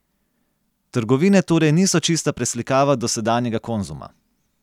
Trgovine torej niso čista preslikava dosedanjega Konzuma.